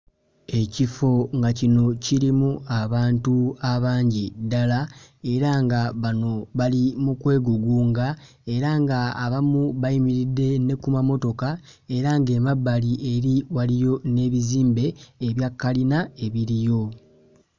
Ekifo nga kino kirimu abantu abangi ddala era nga bano bali mu kwegugunga era nga abamu bayimiridde ne ku mamotoka era ng'emabbali eri waliyo n'ebizimbe ebya kkalina ebiriyo